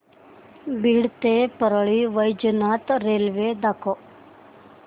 बीड ते परळी वैजनाथ रेल्वे दाखव